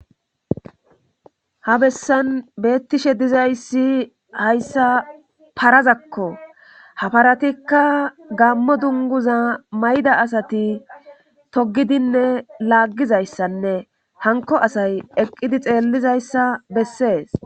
ha bessan beettishe dizayssi hayssa parazakko ha paratikka gammo dunguza mayda asati togidinne laaggizayssanne hanko asay eqqidi xeellizayssa bessees